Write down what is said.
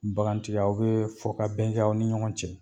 Bagantigi aw bɛ fɔ ka bɛn kɛ, aw ni ɲɔgɔn cɛ